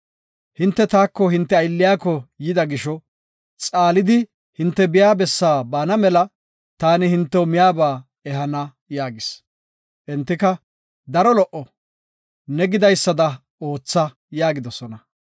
Hinte taako hinte aylliyako yida gisho xaalidi hinte biya bessi baana mela taani hintew miyaba ehana” yaagis. Entika, “Daro lo77o, ne gidaysada ootha” yaagidosona.